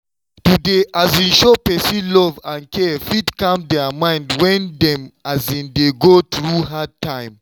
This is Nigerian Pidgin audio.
to dey um show person love and care fit calm their mind when dem um dey go through hard time.